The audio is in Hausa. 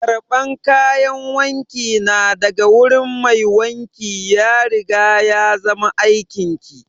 Karban kayan wanki na daga wurin mai wanki ya riga ya zama aikin ki!